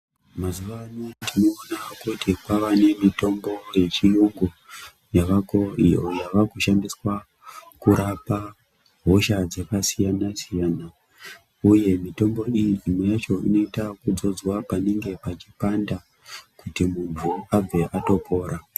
Mazuwa anaya tinoona kuti kwavane mitombo yechiyungu yavako iyo yavakushandiswa kurapa hosha dzakasiyanasiyana uye mitombo iyi imweyacho inoitwa yekudzodzwa panenge pachipanda kuti munhu abve atopora.